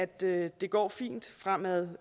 det går fint fremad